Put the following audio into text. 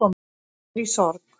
Ég er í sorg